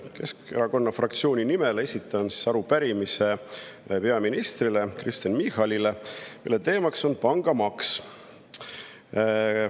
Keskerakonna fraktsiooni nimel esitan peaminister Kristen Michalile arupärimise, mille teema on pangamaks.